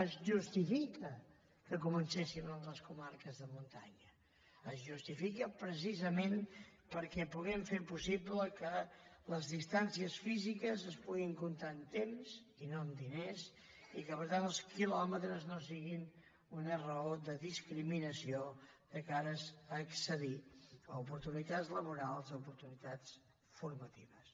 es justifica que comencéssim en les comarques de muntanya es justifica precisament perquè puguem fer possible que les distàncies físiques es puguin comptar amb temps i no amb diners i que per tant els quilòmetres no siguin una raó de discriminació de cara a accedir a oportunitats laborals a oportunitats formatives